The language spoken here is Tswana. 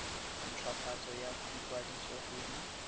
hwafatso ya ikwadiso go di